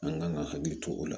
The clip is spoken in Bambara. An kan ka hakili to o la